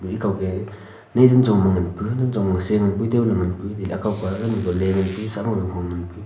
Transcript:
ekao pe ngajin cho ma ngan pu.